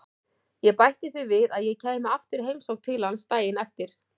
Ég bætti því við að ég kæmi aftur í heimsókn til hans daginn eftir.